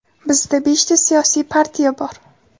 Bizda beshta siyosiy partiya bor.